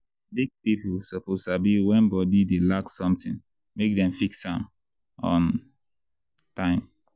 big people suppose sabi when body dey lack something make dem fix am on time.